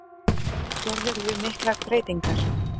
Gerirðu miklar breytingar?